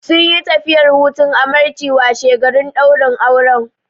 Sunyi tafiyar hutun amarci washegarin ɗaurin auren.